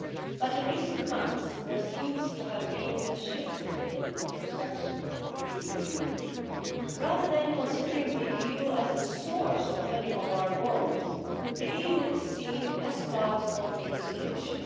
But in recent months there seems to have been a shift in perception of the EU rather than being considered as the source of many of our woes, the EU is seen as part of the solution.